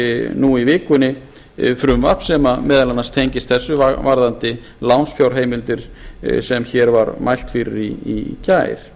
nú í vikunni frumvarp sem meðal annars tengist þessu varðandi lánsfjárheimildir sem hér var mælt fyrir í gær